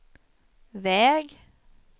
väg